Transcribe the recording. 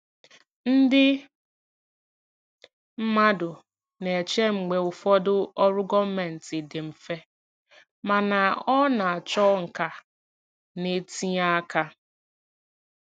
Ndị mmadụ na-eche mgbe ụfọdụ ọrụ gọọmentị dị mfe, mana ọ na-achọ nka na ntinye aka.